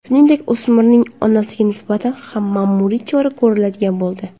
Shuningdek, o‘smirning onasiga nisbatan ham ma’muriy chora ko‘riladigan bo‘ldi.